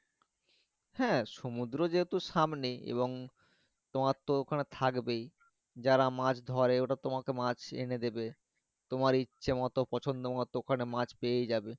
হ্যাঁ সমুদ্র যেহেতু সামনে এবং তোমার তো ওখানে থাকবেই যারা মাছ ধরে ওরা তোমাকে মাছ এনে দিবে তোমার ইচ্ছা মতো পছন্দ মতো ওখানে মাছ পেয়ে যাবে